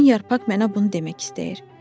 Son yarpaq mənə bunu demək istəyir.